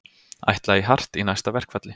Ætla í hart í næsta verkfalli